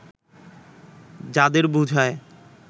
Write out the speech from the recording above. যাঁদের বোঝায়